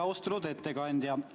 Austatud ettekandja!